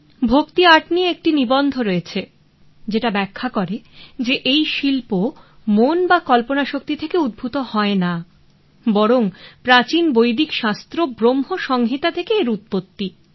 ভক্তি আর্ট নিয়ে একটি নিবন্ধ রয়েছে যেটা ব্যাখ্যা করে যে এই শিল্প মন বা কল্পনা শক্তি থেকে উদ্ভূত হয় না বরং প্রাচীন বৈদিক শাস্ত্র ব্রহ্ম সংহিতা থেকে এর উৎপত্তি